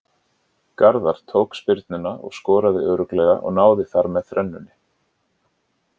Garðar tók spyrnuna og skoraði örugglega og náði þar með þrennunni.